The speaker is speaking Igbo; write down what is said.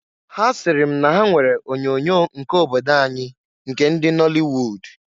Ha siri m na ha nwere onyoonyo nke obodo anyị nke ndị nọlịwud.